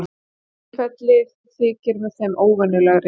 Tilfellið þykir með þeim óvenjulegri